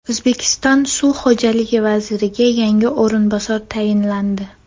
O‘zbekiston suv xo‘jaligi vaziriga yangi o‘rinbosar tayinlandi.